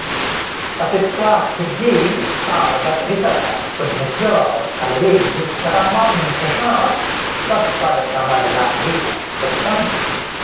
पतित्वा खिद्येऽसावगतिरित उद्धृत्य कलयेः कदा मां कृष्ण त्वत्पदकमललाभेन सुखितम्